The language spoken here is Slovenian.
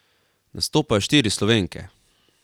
Nastopajo štiri Slovenke.